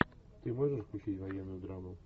ты можешь включить военную драму